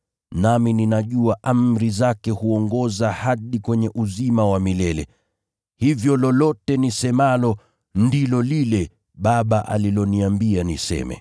Nami ninajua amri zake huongoza hadi kwenye uzima wa milele. Hivyo lolote nisemalo, ndilo lile Baba aliloniambia niseme.”